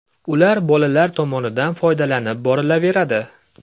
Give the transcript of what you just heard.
Ular bolalar tomonidan foydalanib borilaveradi.